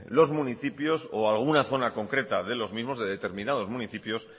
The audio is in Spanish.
los municipios o alguna zona concreta de los mismos de determinados municipios